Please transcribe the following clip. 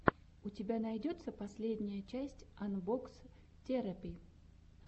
у тебя найдется последняя часть анбокс терэпи